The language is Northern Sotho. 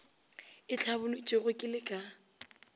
e hlabolotšwego ke le ka